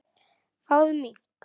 Fáðu mink.